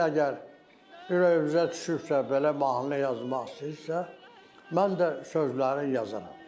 Siz əgər ürəyinizə düşübsə belə mahnı yazmaq istəyirsinizsə, mən də sözləriniz yazaram.